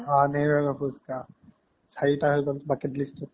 হা নেহেৰুৰ আগৰ পোচকা চাৰি পাচমান bucket list ত